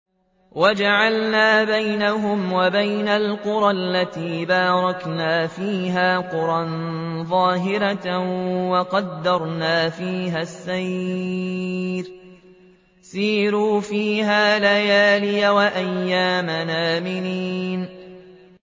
وَجَعَلْنَا بَيْنَهُمْ وَبَيْنَ الْقُرَى الَّتِي بَارَكْنَا فِيهَا قُرًى ظَاهِرَةً وَقَدَّرْنَا فِيهَا السَّيْرَ ۖ سِيرُوا فِيهَا لَيَالِيَ وَأَيَّامًا آمِنِينَ